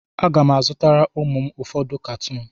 Aga m azụtara ụmụ m ụfọdụ katuun.